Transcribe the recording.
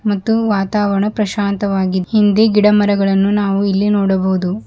ಮತ್ತು ವಾತಾವರಣ ಪ್ರಶಾಂತವಾಗಿ ಹಿಂದೆ ಗಿಡಮರಗಳನ್ನು ನಾವು ಇಲ್ಲಿ ನೋಡಬಹುದು.